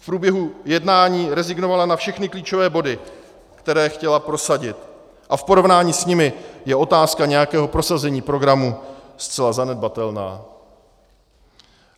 V průběhu jednání rezignovala na všechny klíčové body, které chtěla prosadit, a v porovnání s nimi je otázka nějakého prosazení programu zcela zanedbatelná.